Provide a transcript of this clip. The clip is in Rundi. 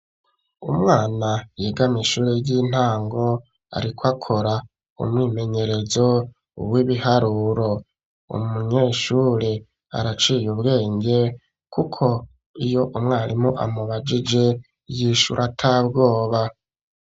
Umwana yiga muma shure y'intango ariko akora umwimenyerezo w'ibiharuro umunyeshure araciye ubwenge kuko iyo umwarimu amubagije y'ishura atabwoba.